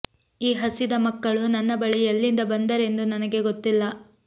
ಈ ಹಸಿದ ಮಕ್ಕಳು ನನ್ನ ಬಳಿ ಎಲ್ಲಿಂದ ಬಂದರೆಂದು ನನಗೆ ಗೊತ್ತಿಲ್ಲ